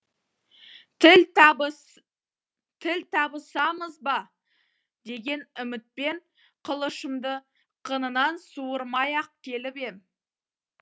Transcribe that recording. тіл табысамыз ба деген үмітпен қылышымды қынынан суырмай ақ келіп ем